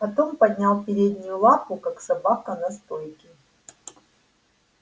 потом поднял переднюю лапу как собака на стойке